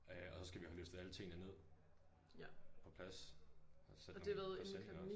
Øh og så skal vi have løftet alle tingene ned på plads og sætte nogle presenninger også